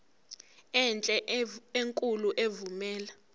enhle enkulu evumela